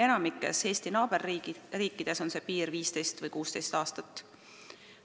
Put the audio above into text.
Enamikus Eesti naaberriikides on sätestatud 15 või 16 aastat.